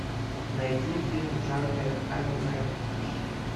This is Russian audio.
найди фильм в жанре аниме